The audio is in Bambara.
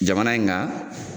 Jamana in kan